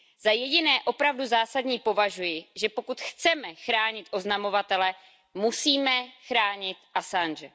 Za jediné opravdu zásadní považuji, že pokud chceme chránit oznamovatele, musíme chránit Assange.